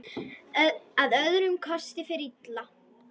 Að öðrum kosti fer illa.